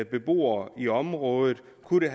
beboerne i området kunne det